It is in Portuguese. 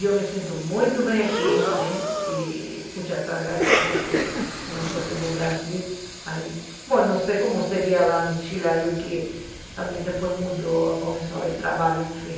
Eu me sinto muito bem aqui, e puxa, estou agradecida, porque se não fosse para o Brasil, não sei como seria lá no Chile, acho que, também depois mudou, começou a haver trabalho, enfim.